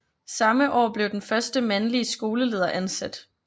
Samme år blev den første mandlige skoleleder ansat